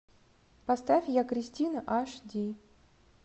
поставь я кристина аш ди